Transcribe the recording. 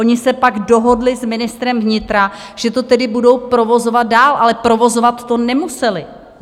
Oni se pak dohodli s ministrem vnitra, že to tedy budou provozovat dál, ale provozovat to nemuseli.